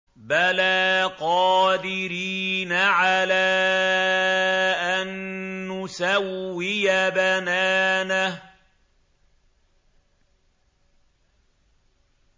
بَلَىٰ قَادِرِينَ عَلَىٰ أَن نُّسَوِّيَ بَنَانَهُ